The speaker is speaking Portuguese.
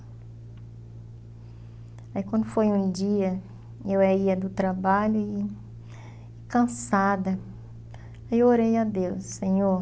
Aí quando foi um dia, eu ia do trabalho e e cansada, eu orei a Deus, Senhor,